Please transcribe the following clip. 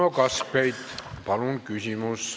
Uno Kaskpeit, palun!